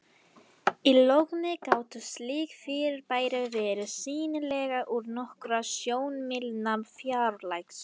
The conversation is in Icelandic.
í logni gátu slík fyrirbæri verið sýnileg úr nokkurra sjómílna fjarlægð